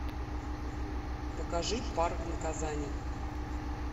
покажи парк наказаний